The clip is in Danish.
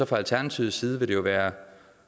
fra alternativets side vil det jo være